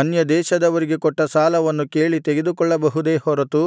ಅನ್ಯದೇಶದವರಿಗೆ ಕೊಟ್ಟ ಸಾಲವನ್ನು ಕೇಳಿ ತೆಗೆದುಕೊಳ್ಳಬಹುದೇ ಹೊರತು